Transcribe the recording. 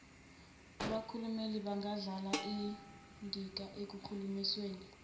abakhulumeli bangadlala indimaekulinganisweni